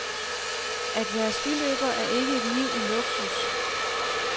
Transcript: At være skiløber er ikke et liv i luksus.